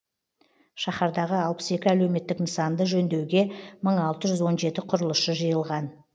шаһардағы алпыс екі әлеуметтік нысанды жөндеуге мың алты жүз он жеті құрылысшы жиылған